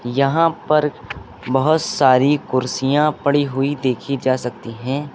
यहां पर बहोत सारी कुर्सियां पड़ी हुई देखी जा सकती हैं।